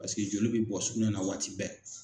Paseke joli bɛ bɔ sugunɛ na waati bɛɛ.